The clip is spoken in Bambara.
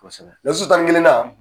Kɔsobɛ . Lasu tan ni kelennan